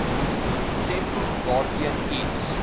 tempo waarteen iets